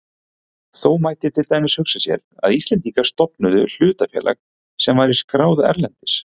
Þó mætti til dæmis hugsa sér að Íslendingar stofnuðu hlutafélag sem væri skráð erlendis.